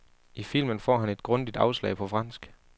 I filmen får han et grundigt afslag på fransk.